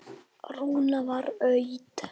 Rúmið var autt.